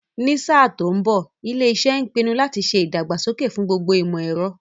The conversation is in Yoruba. Ní sáà tó ń bọ̀, ilé iṣẹ́ ń pinu láti ṣe ìdàgbàsókè fún gbogbo ìmọ̀ ẹ̀rọ